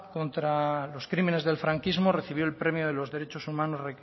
contra los crímenes del franquismo recibió el premio de los derechos humanos